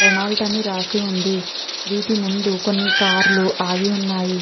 Renault అని రాసి ఉంది. వీటి ముందు కొన్ని కార్ లు ఆగి ఉన్నాయి.